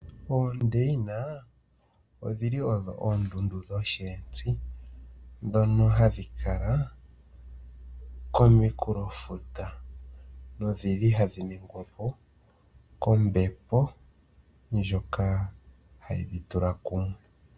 Oondeina odhi li odho oondundu dhosheenzi, ndhono hadhi kala kominkulofuta nohadhi ningwa po kombepo ndjoka hayi dhi tula kumwe.